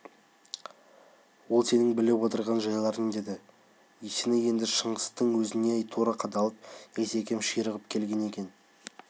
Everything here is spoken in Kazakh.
ол сенің біліп отырған жайларың деді есеней енді шыңғыстың өзіне тура қадалып есекем ширығып келген екен